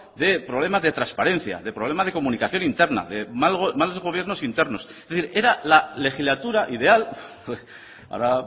de problemas de transparencia de problema de comunicación interna de malos gobiernos internos es decir era la legislatura ideal ahora